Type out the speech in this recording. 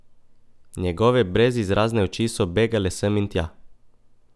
Njegove brezizrazne oči so begale sem in tja.